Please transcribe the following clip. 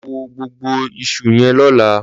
Lọ wù gbógbó iṣú yèn lọ̀lá